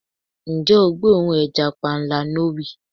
Ǹjẹ́ o gbóòórùn ẹja panla. No wii